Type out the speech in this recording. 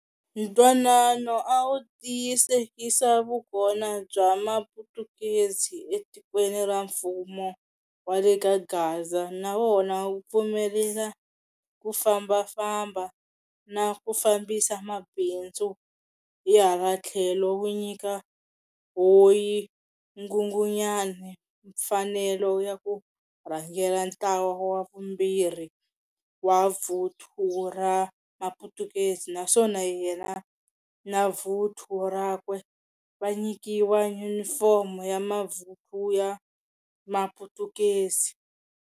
Ntwanano a wu tiyisekisa vukona bya maphutukezi e tikweni ra mfumo wa le kaGaza nawona wu pfumelela ku fambafamba na ku fambisa mabindzu, hi hala thlelo wu nyika hoi nghunghunyani mfanelo ya ku rhangela ntlawa wa vumbhirhi wa vuthu ra maphutukezi naswona yena navuthu rakwe va nyikiwa Unifomo ya mavuthu ya maphutukezi.